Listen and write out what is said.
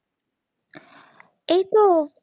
এই তো